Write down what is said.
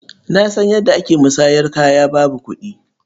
Na san yadda ake musanyar kaya babu kuɗi.